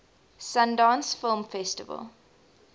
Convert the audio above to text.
sundance film festival